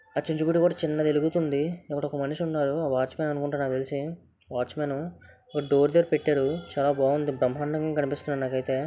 చిన్నది వెలుగుతుంది అక్కడ ఒక మనిషి ఉన్నాడు ఒక వాచ్మెన్ అనుకుంట నాకు తెలిసి వాచ్మెనే ఒక డోర్ దగ్గర పెట్టరు చాలా బాగుంది బ్రహ్మాడంగాకనిపిస్తుంది నాకు అయితే.